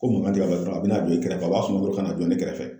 Ko mankan tɛ ka kɛ dɔrɔn a bɛ na don i kɛrɛ a b'a sun kolo kana don ne kɛrɛfɛ